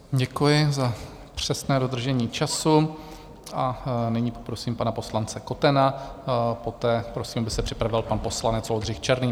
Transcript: Děkuji za přesné dodržení času a nyní poprosím pan poslance Kotena, poté prosím, aby se připravil pan poslanec Oldřich Černý.